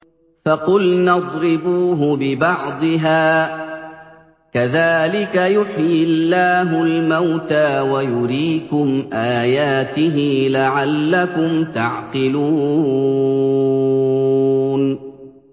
فَقُلْنَا اضْرِبُوهُ بِبَعْضِهَا ۚ كَذَٰلِكَ يُحْيِي اللَّهُ الْمَوْتَىٰ وَيُرِيكُمْ آيَاتِهِ لَعَلَّكُمْ تَعْقِلُونَ